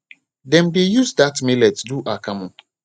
dem dey use that millet do akamu